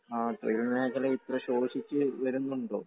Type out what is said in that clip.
ആ തൊഴിൽമേഖല ഇത്ര ശോഷിച്ചു വരുന്നുണ്ടോ?